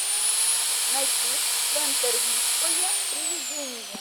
найди пентервильское приведение